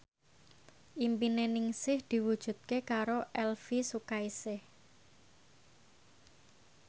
impine Ningsih diwujudke karo Elvy Sukaesih